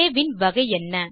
ஆ இன் வகை என்ன